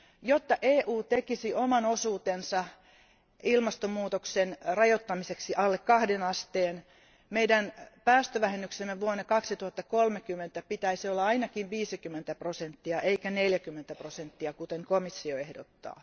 Jotta EU tekisi oman osuutensa ilmastonmuutoksen rajoittamiseksi alle kahden asteen, meidän päästövähennyksemme vuonna 2030 pitäisi olla ainakin 50 prosenttia, eikä 40 prosenttia, kuten komissio ehdottaa.